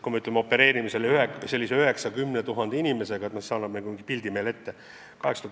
Kui me teame, et opereerime 9000 – 10 000 inimesega, siis see annab nagu mingi pildi ette.